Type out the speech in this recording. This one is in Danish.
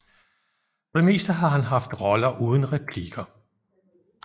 For det meste har han haft roller uden replikker